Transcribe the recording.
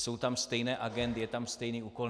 Jsou tam stejné agendy, je tam stejný úkol.